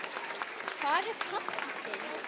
Hvar er pabbi þinn?